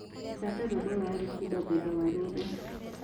thaka rwĩmbo rwa alikiba thutha wa rũrũ